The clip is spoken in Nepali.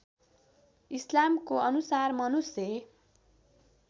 इस्लामको अनुसार मनुष्य